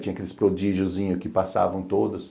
Tinha aqueles prodigiozinhos que passavam todos.